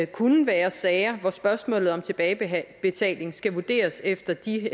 kunne være sager hvor spørgsmålet om tilbagebetaling skal vurderes efter de